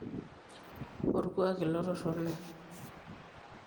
olkuak ilo torrono